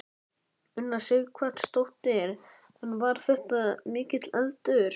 Una Sighvatsdóttir: En var þetta mikill eldur?